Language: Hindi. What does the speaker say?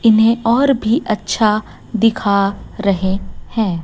इन्हें और भी अच्छा दिखा रहे हैं।